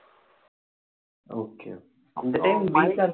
okay இந்த time